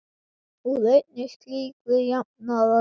Úr einni slíkri jafnaði liðið.